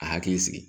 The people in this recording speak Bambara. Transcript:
A hakili sigi